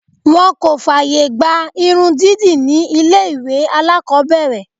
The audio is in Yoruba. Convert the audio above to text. Wọ́n kò fààyè gba irun dídì ní ilé ìwé alákọ̀ọ́bẹ̀rẹ̀.